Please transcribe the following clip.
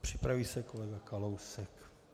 Připraví se kolega Kalousek.